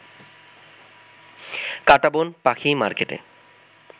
কাঁটাবন পাখি মার্কেটে